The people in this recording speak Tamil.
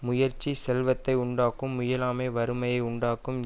முயற்சி செல்வத்தை உண்டாக்கும் முயலாமை வறுமையை உண்டாக்கும்